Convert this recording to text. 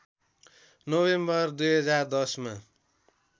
November २०१० मा